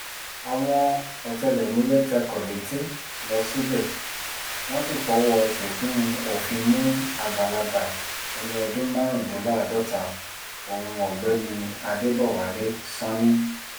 àwọn ọ̀tẹlẹ̀múyẹ́ tẹkọ̀ létí lọ síbẹ̀ wọ́n sì fọwọ́ síkùn òfin mú àgbàlagbà ẹni ọdún márùndínláàádọ́ta ohun ọ̀gbẹ́ni adébọwálé sanni